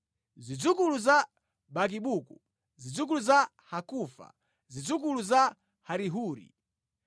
Zidzukulu za Bakibuku, zidzukulu za Hakufa, zidzukulu za Harihuri,